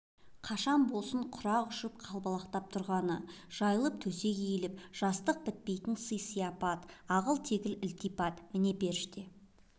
қашан болсын құрақ ұшып қалбалақтап тұрғаны жайылып төсек иіліп жастық бітпейтін сый-сияпат ағыл-тегіл ілтипат міне періште